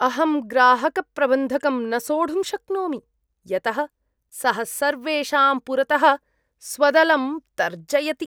अहं ग्राहकप्रबन्धकं न सोढुं शक्नोमि, यतः सः सर्वेषां पुरतः स्वदलं तर्जयति।